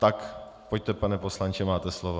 Tak pojďte, pane poslanče, máte slovo.